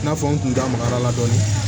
I n'a fɔ n kun da magara la dɔɔnin